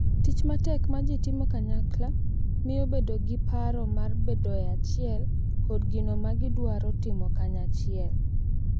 Tich matek ma ji timo kanyakla miyo bedo gi paro mar bedo e achiel kod gino ma gidwaro timo kanyachiel,